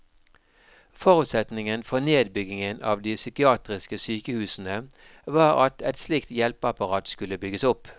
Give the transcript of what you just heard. Forutsetningen for nedbyggingen av de psykiatriske sykehusene var at et slikt hjelpeapparat skulle bygges opp.